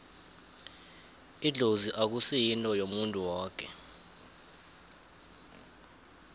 idlozi akusi yinto yomuntu woke